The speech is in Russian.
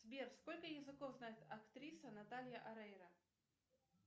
сбер сколько языков знает актриса наталья орейро